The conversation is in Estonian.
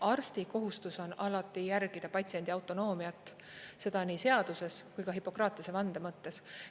Arsti kohustus on alati järgida patsiendi autonoomiat, seda nii seaduses kui ka Hippokratese vande mõttes.